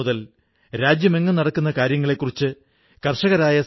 ഈ സ്ഥലത്ത് അവിടത്തെ ഗ്രാമീണർ ഖാദി നെയ്യുന്ന ജോലിയിൽ ഏർപ്പെട്ടിരിക്കുന്നു